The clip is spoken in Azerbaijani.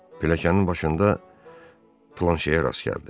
Pilləkənin başında Planşerə rast gəldi.